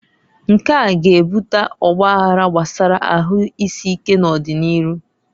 Nkea g'ebuta ọgbaghara gbasara ahuisike n'ọdi n'iru.